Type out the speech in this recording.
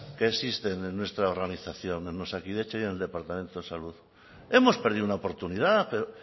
que existen en nuestra organización en osakidetza y en el departamento de salud hemos perdido una oportunidad pero